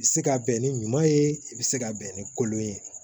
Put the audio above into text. I bɛ se ka bɛn ni ɲuman ye i bɛ se ka bɛn ni kolon ye